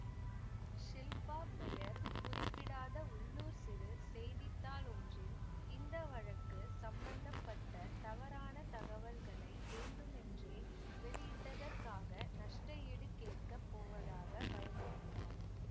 ஷில்பா பெயர் குறிப்பிடாத உள்ளூர் சிறு செய்தி தாள் ஒன்றில் இந்த வழக்கு சம்பத்தப்பட்ட தவறான தகவல்களை வேண்டுமென்றே வெளியிட்டதற்காக நஷ்ட ஈடு கேட்க போவதாக பயமுறுத்தினார்